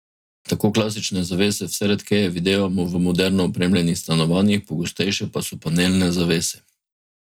Tako klasične zavese vse redkeje videvamo v moderno opremljenih stanovanjih, pogostejše pa so panelne zavese.